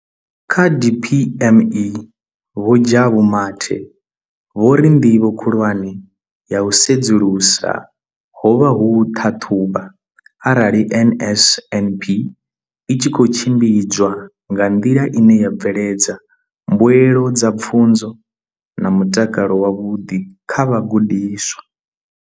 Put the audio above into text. Kha DPME, Vho Jabu Mathe, vho ri ndivho khulwane ya u sedzulusa ho vha u ṱhaṱhuvha arali NSNP i tshi khou tshimbidzwa nga nḓila ine ya bveledza mbuelo dza pfunzo na mutakalo wavhuḓi kha vhagudiswa.